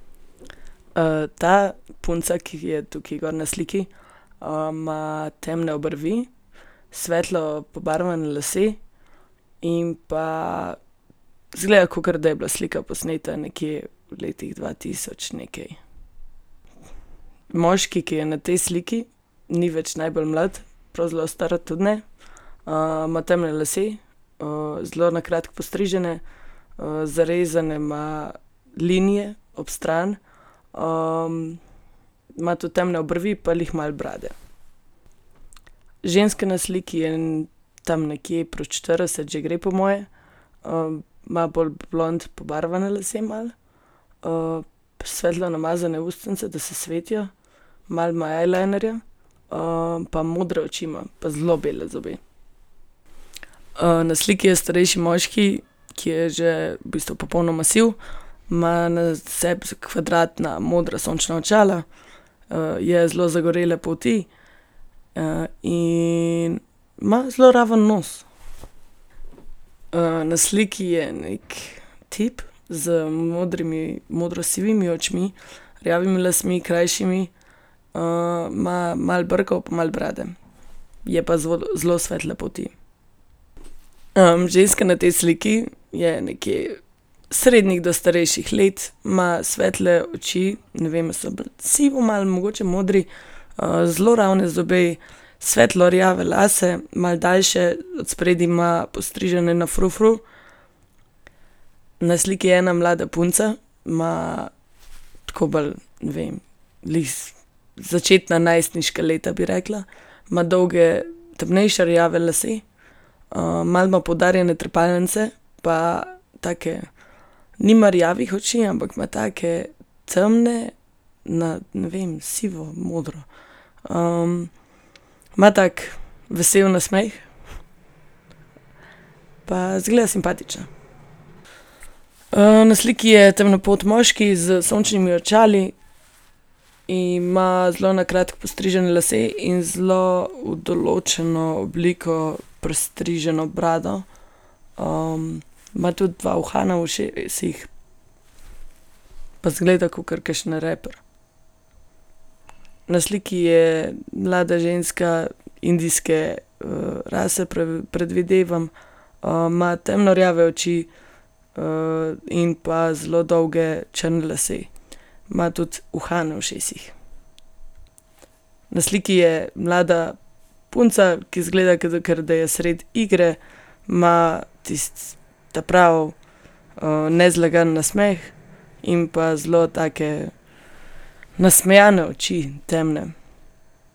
ta punca, ki je tukaj gor na sliki, ima temne obrvi, svetlo pobarvane lase in pa izgleda, kakor da je bila slika posneta nekje v letih dva tisoč nekaj. Moški, ki je na tej sliki, ni več najbolj mlad, prav zelo star tudi ne. ima temne lase, zelo na kratko postrižene, zarezane ima linije ob strani, ima tudi temne obrvi pa glih malo brade. Ženska na sliki je tam nekje, proti štirideset že gre, po moje. ima bolj blond pobarvane lase malo, svetlo namazane ustnice, da se svetijo. Malo ima eyelinerja, pa modre oči ima, pa zelo bele zobe. na sliki je starejši moški, ki je že v bistvu popolnoma siv. Ima na sebi kvadratna modra sončna očala, je zelo zagorele polti, in ima zelo raven nos. na sliki je neki tip z modrimi, modrosivimi očmi, rjavimi lasmi, krajšimi, ima malo brkov pa malo brade. Je pa zelo svetle polti. ženska na tej sliki je nekje srednjih do starejših let. Ima svetle oči, ne vem, ali so bolj sivo malo, mogoče modri, zelo ravne zobe, svetlo rjave lase, malo daljše, od spredaj ima postrižene na frufru. Na sliki je ena mlada punca. Ima tako bolj, ne vem, blizu začetna najstniška leta, bi rekla. Ima dolge temnejše rjave lase, malo ima poudarjene trepalnice pa take, nima rjavih oči, ampak ima take temne, na, ne vem, sivomodro. ima tak vesel nasmeh. Pa izgleda simpatična. na sliki je temnopolt moški s sončnimi očali. Ima zelo na kratko postrižene lase in zelo v določno obliko pristriženo brado. ima tudi dva uhana v ušesih pa izgleda kakor kakšen raper. Na sliki je mlada ženska indijske, rase, predvidevam. ima temno rjave oči, in pa zelo dolge črne lase. Ima tudi uhane v ušesih. Na sliki je mlada punca, ki izgleda, kakor da je sredi igre. Ima tisti ta pravi, nezlagan nasmeh in pa zelo take nasmejane oči, temne.